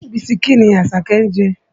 Bisikí ni Àṣàkẹ́ ń jẹ.